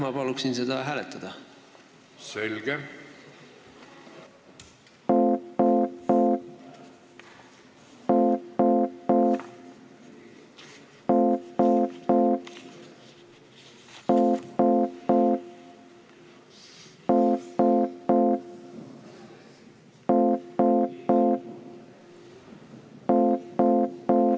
Ma palun seda hääletada!